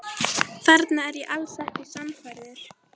Þarna er ég alls ekki sannfærður.